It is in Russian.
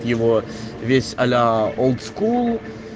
его весь аля олдскул